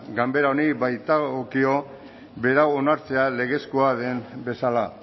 ganbera honi baitagokio berau onartzea legezkoa den bezala